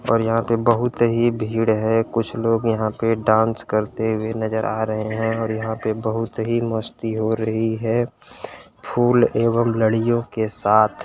यहाँ पर बोहोत ही भीड़ है कुछ लोग यहाँ पे डांस करते हुए नजर आ रहे हैं और यहां पे बोहोत ही मस्ती हो रही है फूल एवं लड़ियो के साथ।